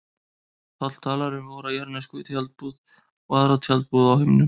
Páll talar um vora jarðnesku tjaldbúð og aðra tjaldbúð á himnum.